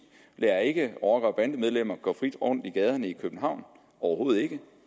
lader ikke rocker og bandemedlemmer gå frit rundt i gaderne i københavn overhovedet ikke